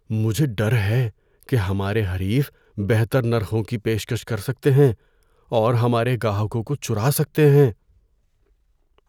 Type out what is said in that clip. مجھے ڈر ہے کہ ہمارے حریف بہتر نرخوں کی پیشکش کر سکتے ہیں اور ہمارے گاہکوں کو چرا سکتے ہیں۔